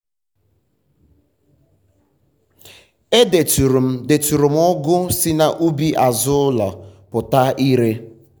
e deturu m deturu m ugu si n'ubi azụ ụlọ pụta ire.